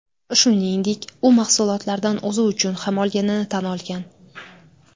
Shuningdek, u mahsulotlardan o‘zi uchun ham olganini tan olgan.